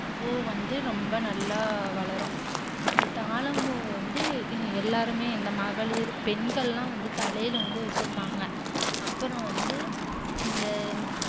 இந்தப் பூ வந்து ரொம்ப நல்ல வளரும். இந்த தாழம்பூ வந்து எல்லாருமே இந்த மகளிர் பெண்கள் எல்லாம் தலையில் வந்து வச்சுப்பாங்க. அப்புறம் வந்து இந்த